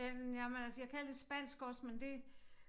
Øh nja men altså jeg kan lidt spansk også men det